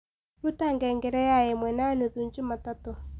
rũta ngengere yaĩmwe na nũthũ jumatatũ